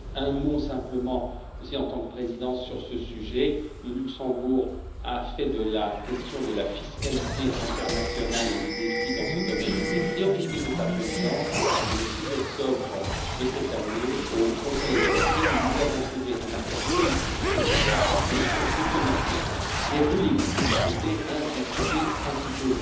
Un mot simplement, en tant que président, sur ce sujet le Luxembourg a fait de la question de la fiscalité internationale et des défis dans ce domaine une des priorités de sa présidence et le 6 octobre de cette année, au Conseil Ecofin, nous avons trouvé un accord politique sur l'échange automatique des rescrits fiscaux, qui était un des sujets principaux.